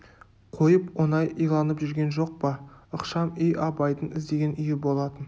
қойып оңай иланып жүрген жоқ па ықшам үй абайдың іздеген үйі болатын